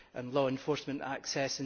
law enforcement access